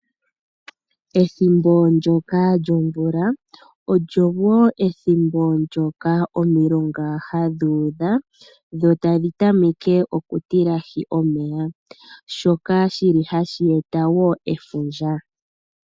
Ethimbo ndjoka lyomvula, olyo woo ethimbo ndjoka omilonga, ha dhi udha dho ta dhi tameke oku tilahi omeya, shoka shili ha shi eta woo efundja.